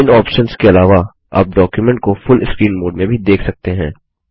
इन options के अलावा आप डॉक्युमेंट को फूल स्क्रीन मोड में भी देख सकते हैं